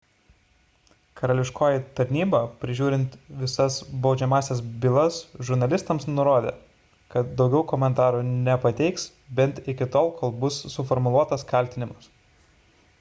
karališkoji tarnyba prižiūrinti visas baudžiamąsias bylas žurnalistams nurodė kad daugiau komentarų nepateiks bent iki tol kol bus suformuluotas kaltinimas